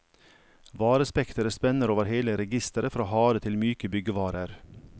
Varespekteret spenner over hele registeret fra harde til myke byggevarer.